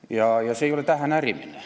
Ja see kriitika ei ole tähenärimine.